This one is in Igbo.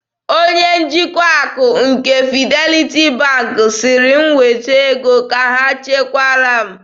Onye njikwa akụ nke Fidelity Bank sịrị m weta ego ka ha chekwara m.